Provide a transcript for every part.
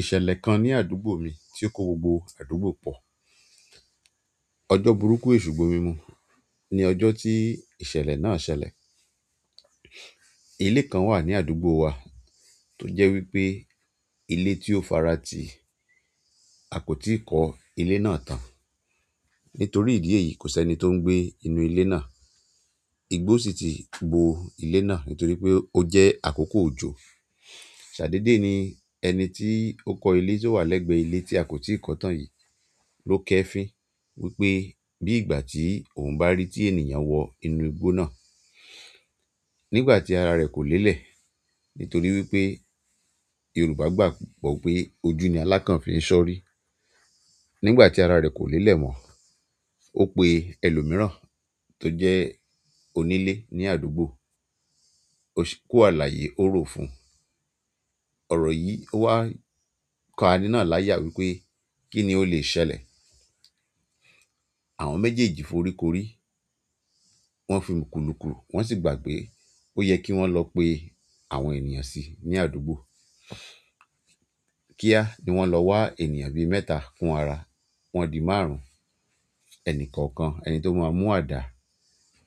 Ìṣẹ̀lẹ̀ kan ní àdúgbò mi tí ó kó gbogbo àdúgbò pọ̀. Ọjọ́ burúkú Èṣù gbomi mu ni ọjọ́ tí ìṣẹ̀lẹ̀ náà ṣẹlẹ̀. Ilé kan wà ní àdúgbò wa tó jẹ́ wípé ilé tí ó fara ti, a kò tí ì kọ ilé náà tán. Nítorí ìdí èyí kò sí ẹni tó ń gbé inú ilé náà. Igbo sinti bo gbogbo ile náà nítorí o je akoko ojo ṣàdédè ni ẹni tí ó kọ ilé tí ó wà lẹ́gbẹ̀ẹ́ ilé tí a kò tí ì kọ tán yìí ló kẹ́fìn wípé bí ìgbà tí òun bá rí tí ènìyàn wọ inú igbó náà. Nígbà tí ara rẹ̀ kò léèlé, nítorí wípé Yorùbá gbàgbọ́ pé ojú ni aláǹkán fi ń ṣọ́rí. Nígbà tí ara rẹ̀ kò léèlé mọ́, ó pe ẹlòmíràn tó jẹ́ onílé ní àdúgbò. Ó ṣí kó àlàyé ó ro fún. Ọ̀rọ̀ yìí ó wá kaní náà láyà wípé kí ni ó lè ṣẹlẹ̀. Àwọn méjèèjì foríko orí, wọ́n fi n kulukulu, wọ́n sì gbàpé ó yẹ kí wọ́n lọ pe àwọn ènìyàn sí i ní àdúgbò. Kíá! Ni wọ́n lọ wá ènìyàn bí mẹ́ta fún ara wọn dín márùn-ún. Ẹni kọ̀ọ̀kan, ẹni tó máa mú àdá,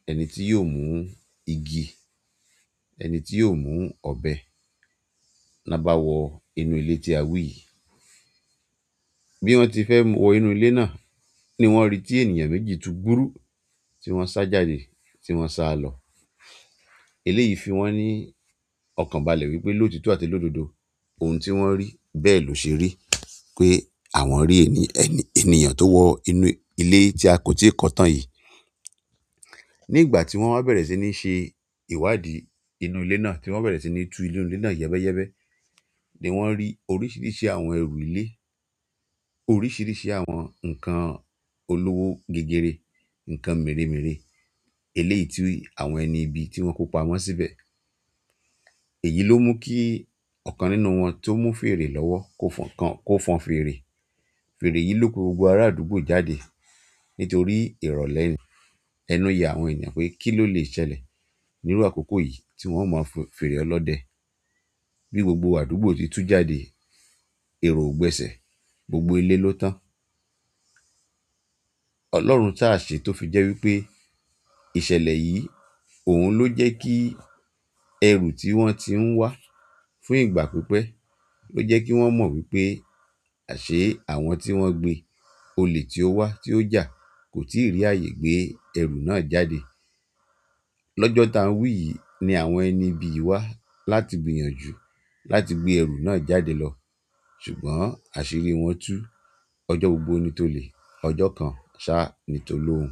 ẹni tí yóò mú igi, ẹni tí yóò mú ọ̀bẹ. Na bá wọ inú ilé tí a wí yìí. Bí wọ́n ti fẹ́ mú wọ inú ilé náà ni wọ́n rí tí ènìyàn méjì tu gbúrú tí wọ́n sá jáde, tí wọ́n sá lọ. Ilé yìí fi wọ́n ní ọkàn balẹ̀ wípé lótíto àti lódodo ohun tí wọ́n rí bẹ́ẹ̀ ló ṣe rí pé àwọn rí ènìyàn tó wọ inú ilé tí a kò tí ì kọ tán yìí. Nígbà tí wọ́n bá bẹ̀rẹ̀ sí ní ṣe ìwádìí inú ilé náà, tí wọ́n bẹ̀rẹ̀ sí ní tú inú ilé náà yẹ́bẹ́yẹ́bẹ́ ni wọ́n rí oríṣiríṣi àwọn ẹrù ilé, oríṣiríṣi àwọn ǹkan olówó gégere, ǹkan meremere. Eléyìí tú àwọn ẹni ibi tí wọ́n kó pa wọ́n síbẹ̀. Èyí ló mú kí ọ̀kan nínú wọn tó mú fèrè lọ́wọ́ kó fọn fèrè. Fèrè yìí lò pe gbogbo ara àdúgbò jáde. Nítorí ìrọ̀lẹ́ ẹnu ya àwọn ènìyàn pé kí ló lè ṣẹlẹ̀ nírú àkókò yìí tí wọ́n ó mọ fèrè ọlọ́dẹ. Bí gbogbo àdúgbò ti tú jáde, èrò ò gbẹ̀sẹ̀ gbogbo ilé ló tán. Ọlọ́run tá ṣé tó fi jẹ́ wípé ìṣẹ̀lẹ̀ yìí òun ló jẹ́ kí ẹrù tí wọ́n ti ń wá fún ìgbà pípẹ́ ló jẹ́ kí wọ́n mọ̀ wípé àṣé àwọn tí wọ́n gbé olè tí ó wà tí ó jà kò tíì rí ààyè gbé ẹrù náà jáde. Lọ́jọ́ ta nwí yìí ni àwọn ẹni ibi yi wá láti gbìyànjú láti gbé ẹrù náà jáde lọ. Ṣùgbọ́n àṣírí wọn tú. Ọjọ́ gbogbo ni tó lè, ọjọ́ kan sá ni tó lóhun.